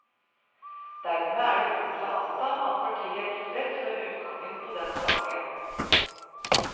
Dermed er det grunn til å anta at partiet er tilfreds med utgangen på den saken.